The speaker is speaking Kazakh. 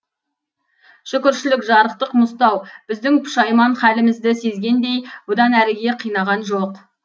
шүкіршілік жарықтық мұзтау біздің пұшайман халімізді сезгендей бұдан әріге қинаған жоқ